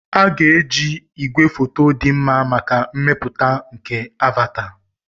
A ga-eji igwefoto dị mma maka mmepụta nke "Avata."